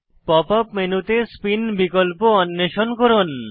pop up মেনুতে spin বিকল্প অন্বেষণ করুন